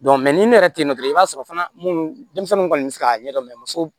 ni ne yɛrɛ te yen nɔ dɔrɔn i b'a sɔrɔ fana munnu denmisɛnninw kɔni be se k'a ɲɛdɔn muso